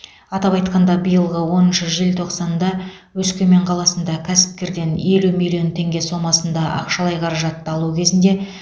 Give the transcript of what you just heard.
атап айтқанда биылғы оныншы желтоқсанда өскемен қаласында кәсіпкерден елу миллмон теңге сомасында ақшалай қаражатты алу кезінде